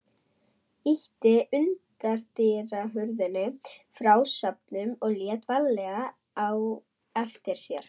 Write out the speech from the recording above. Ýtti útidyrahurðinni frá stöfum og lét varlega á eftir sér.